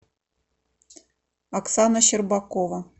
оксана щербакова